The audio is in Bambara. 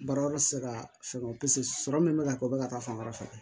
Baara yɔrɔ tɛ se ka fɛngɛ o pise sɔrɔ min bɛ ka kɛ o bɛ ka taa fan wɛrɛ fɛ